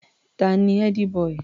Ta ni ẹ́dí-bọì?